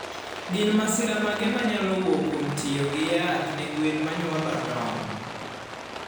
Gin masira mage manyaluo wuok kwom tiyo gi yath ne gwen manyuolo tong?